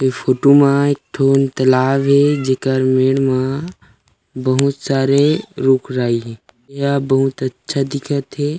ए photo में एक ठो तलाब हे जेकर मेड़ मा बहुत सारे रुख राई हे यह बहुत अच्छा दिखत हे।